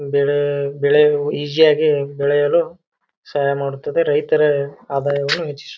ಬೆಲೆ ಬೆಳೆಯಲು ಈಸಿ ಯಾಗಿ ಬೆಳೆಯಲು ಸಹಾಯ ಮಾಡುತ್ತದೆ ರೈತರ ಆದಾಯ ಹೆಚ್ಚಿಸುತ್ತದೆ.